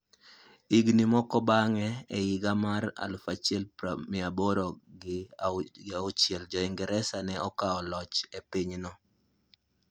Higini moko bang'e, e higa mar 1806, Jo-Ingresa ne okawo loch e pinyno.